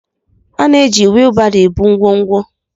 A na-eji wheelbaro ebu ngwongwo.